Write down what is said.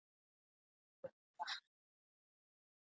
Veigur, hefur þú prófað nýja leikinn?